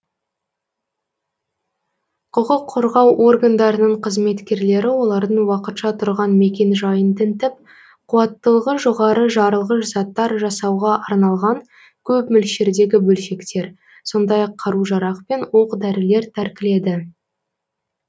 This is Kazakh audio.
құқық қорғау органдарының қызметкерлері олардың уақытша тұрған мекенжайын тінтіп қуаттылығы жоғары жарылғыш заттар жасауға арналған көп мөлшердегі бөлшектер сондай ақ қару жарақ пен оқ дәрілер тәркіледі